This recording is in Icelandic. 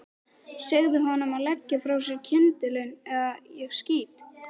Segðu honum að leggja frá sér kyndilinn eða ég skýt.